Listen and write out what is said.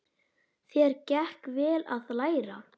Þér gekk vel að læra.